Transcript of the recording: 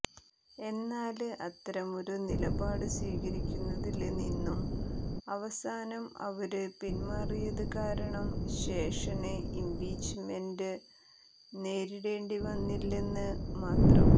എന്നാല് അത്തരമൊരു നിലപാടു സ്വീകരിക്കുന്നതില് നിന്നും അവസാനം അവര് പിന്മാറിയത് കാരണം ശേഷന് ഇംപീച്ച്മെന്റെ നേരിടേണ്ടിവന്നില്ലെന്ന് മാത്രം